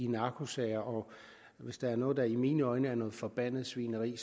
narkosager og hvis der er noget der i mine øjne er noget forbandet svineri